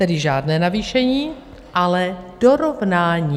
Tedy žádné navýšení, ale dorovnání.